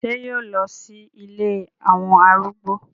Ṣé yóò lọ sí ilé àwọn arúgbó?